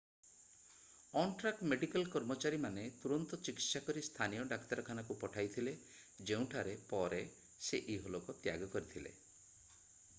on-track medical କର୍ମଚାରୀମାନେ ତୁରନ୍ତ ଚିକିତ୍ସା କରି ସ୍ଥାନୀୟ ଡାକ୍ତରଖାନାକୁ ପଠାଇଥିଲେ ଯେଉଁଠାରେ ପରେ ସେ ଇହଲୋକ ତ୍ୟାଗ କରିଥିଲେ